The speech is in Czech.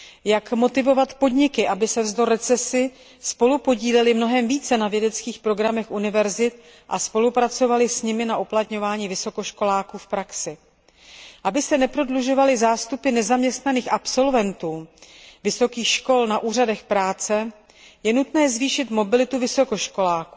Jak motivovat podniky, aby se navzdory recesi spolupodílely mnohem více na vědeckých programech univerzit a spolupracovaly s nimi na uplatňování vysokoškoláků v praxi? Aby se neprodlužovaly zástupy nezaměstnaných absolventů vysokých škol na úřadech práce, je nutné zvýšit mobilitu vysokoškoláků,